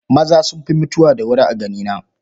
Maza sun fi mutuwa da wuri a ganina.